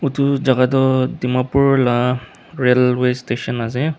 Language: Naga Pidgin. Etu jaka tuh dimapur laga railway station ase.